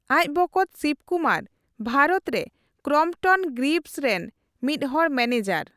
ᱟᱡ ᱵᱚᱠᱚᱛ ᱥᱤᱵᱠᱩᱢᱟᱨ ᱵᱷᱟᱨᱚᱛ ᱨᱮ ᱠᱨᱚᱢᱯᱚᱴᱚᱱ ᱜᱨᱤᱵᱷᱥ ᱨᱮᱱ ᱢᱤᱫ ᱦᱚᱲ ᱢᱟᱱᱮᱡᱟᱨ ᱾